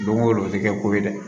Don o don o tɛ kɛ ko ye dɛ